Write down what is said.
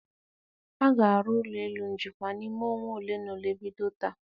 A ga-arụ ụlọ elu njikwa n'ime ọnwa ole na ole bido taa.